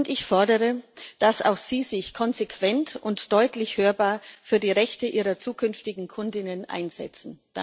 Ich fordere, dass auch sie sich konsequent und deutlich hörbar für die Rechte ihrer zukünftigen Kundinnen einsetzen.